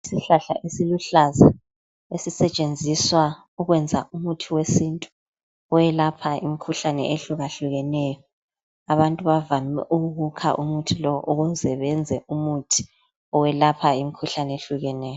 Issihlahla esiluhlaza esisetshenziswa ukwenza umuthi wesintu owelapha imukhuhlane ehluka hlukeneyo, abantu bavame ukuwukha umuthi lo ukuze benze umuthi owelapha imikhuhlane ehlukeneyo.